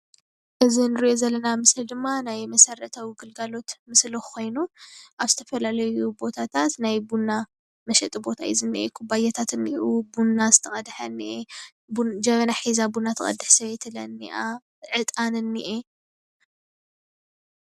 እዚ እንሪኣ ዘለና ምስሊ ድማ ናይ መስረታዊ ግልጋሎት ምስሊ ኮይኑ አብ ዝተፈላለዩ ቦታታት ናይ ቡና መሽጢ ቦታ እዩ ዝኒሄ። ኩባያታት አብኡ ቡና ዝተቀደሐ እንሄ።, ጀበና ሒዛ ቡና ትቀድሕ ስበይቲ ለ እኒሃ። ዕጣን እንሄ::